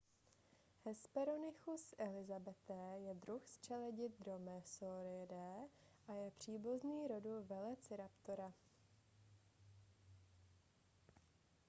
hesperonychus elizabethae je druh z čeledi dromaeosauridae a je příbuzný rodu velociraptora